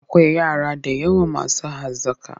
Akwai yara da yawa masu hazaƙa.